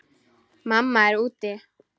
Mamma er úti.